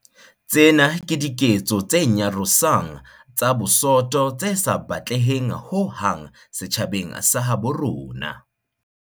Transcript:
Tsena ke diketso tse nyarosang tsa bosoto tse sa batleheng ho hang setjhabeng sa habo rona.